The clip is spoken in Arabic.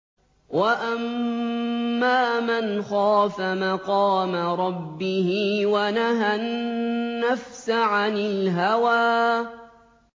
وَأَمَّا مَنْ خَافَ مَقَامَ رَبِّهِ وَنَهَى النَّفْسَ عَنِ الْهَوَىٰ